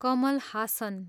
Kamal Haasan